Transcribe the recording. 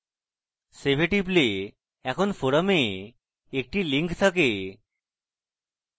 save a টিপলে এখন forum a একটি link থাকে